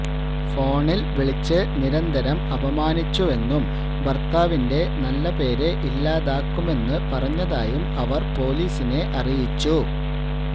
ഫോണില് വിളിച്ച് നിരന്തരം അപമാനിച്ചുവെന്നും ഭര്ത്താവിന്റെ നല്ലപേര് ഇല്ലാതാക്കുമെന്ന് പറഞ്ഞതായും അവര് പൊലീസിനെ അറിയിച്ചു